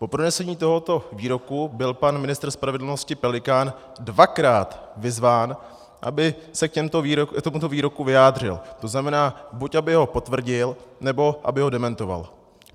Po pronesení tohoto výroku byl pan ministr spravedlnosti Pelikán dvakrát vyzván, aby se k tomuto výroku vyjádřil, to znamená, buď aby ho potvrdil, nebo aby ho dementoval.